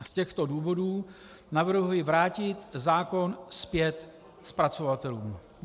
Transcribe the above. Z těchto důvodů navrhuji vrátit zákon zpět zpracovatelům.